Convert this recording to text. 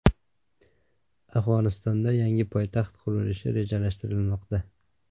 Afg‘onistonda yangi poytaxt qurilishi rejalashtirilmoqda.